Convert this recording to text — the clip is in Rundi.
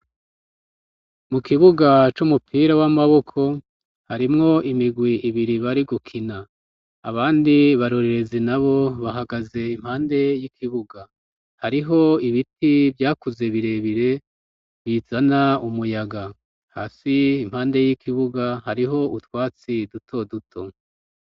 Mu kibuga c'umupira w'amaboko harimwo imirwi ibiri bari gukina. Abandi barorerezi nabo bahagaze impande y'ikibuga. Hariho ibiti vyakuze birebire bizana umuyaga. Hasi impande y'ikibuga hariho utwatsi duto duto.